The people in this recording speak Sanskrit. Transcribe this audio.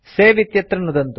सवे इत्यत्र नुदन्तु